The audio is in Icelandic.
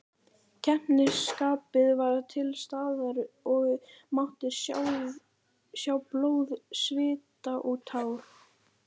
Keppnisskapið var til staðar og mátti sjá blóð, svita og tár.